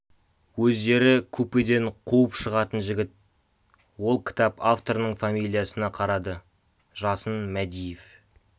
өздері купеден қуып шығатын жігіт ол кітап авторының фамилиясына қарады жасын мәдиев